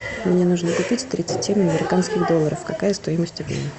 мне нужно купить тридцати американских долларов какая стоимость обмена